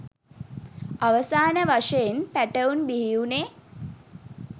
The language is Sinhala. අවසාන වශයෙන් පැටවුන් බිහි වුණේ